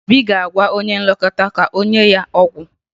Obi ga-agwa onye nlekọta ka o nye ya ọgwụ